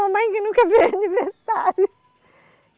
Mãe que nunca aniversário.